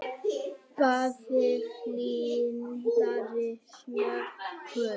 Páfi hlynntari smokkum